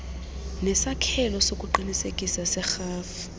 nesakhelo sokuqinisekisa serhafu